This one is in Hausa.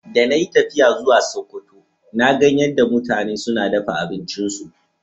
De na yi tafiya zuwa Sokoto, na gan yadda mutanen suna dafan abincin su.